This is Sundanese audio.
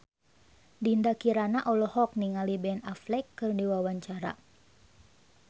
Dinda Kirana olohok ningali Ben Affleck keur diwawancara